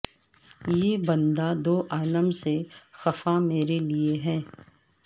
یہ بندہ دو عالم سے خفا میرے لئے ہے